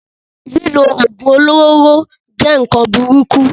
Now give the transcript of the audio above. Lílo oògùn olóró jẹ́ nkan burúkú